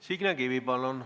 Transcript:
Signe Kivi, palun!